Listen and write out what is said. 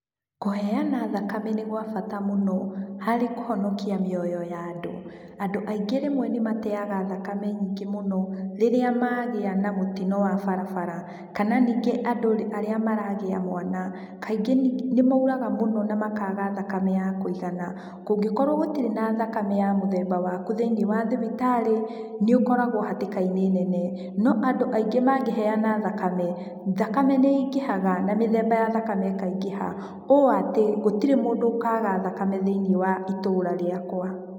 Kũheana thakame nĩ gwa bata mũno, harĩ kũhonokia mĩoyo ya andũ. Andũ aingĩ rĩmwe nĩmateaga thakame nyingĩ mũno, rĩrĩa magĩa na mũtino wa barabara, kana ningĩ andũ arĩa maragĩa mwana, kaingĩ nĩmauraga mũno na makaga thakame ya kũigana. Kũngĩkorwo gũtirĩ na thakame ya mũthemba waku thĩiniĩ wa thibitarĩ, nĩũkoragwo hatĩka-inĩ nene. No andũ aingĩ mangĩheana thakame, thakame nĩĩngĩhaga na mĩthemba ya thakame ĩkaingĩha, o atĩ, gũtirĩ mũndũ ũkaga thakame thĩiniĩ wa itũra rĩakwa